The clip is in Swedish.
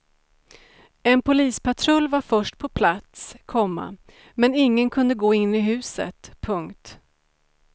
En polispatrull var först på plats, komma men ingen kunde gå in i huset. punkt